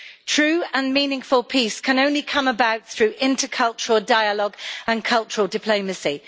True and meaningful peace can only come about through intercultural dialogue and cultural diplomacy.